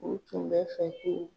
U tun bɛ fɛ